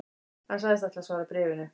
Hann sagðist ætla að svara bréfinu